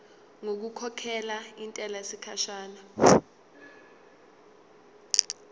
ngokukhokhela intela yesikhashana